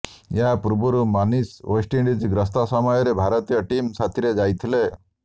ଏହା ପୂର୍ବରୁ ମନୀଷ ୱେଷ୍ଟଇଣ୍ଡିଜ ଗ୍ରସ୍ତ ସମୟରେ ଭାରତୀୟ ଟିମ ସାଥିରେ ଯାଇଥିଲେ